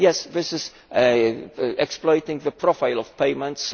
This is exploiting the profile of payments.